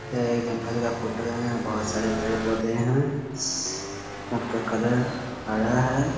यह एक जंगल का फोटो है यहाँ बहुत सारे पेड़ -पोधे है सब का कलर हरा है ।.